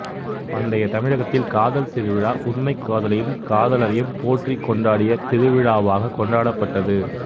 பண்டைய தமிழகத்தில் காதல் திருவிழா உண்மைக் காதலையும் காதலரையும் போற்றிக் கொண்டாடிய திருவிழாவாகக் கொண்டாடப்பட்டது